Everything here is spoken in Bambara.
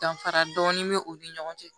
Danfara dɔɔni bɛ u ni ɲɔgɔn cɛ